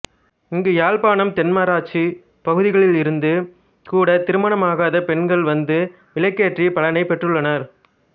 இங்கு யாழ்ப்பாணம் தென்மராட்சி பகுதிகளிலிருந்து கூட திருமணமாகாத பெண்கள் வந்து விளக்கேற்றி பலனை பெற்றுள்ளனர்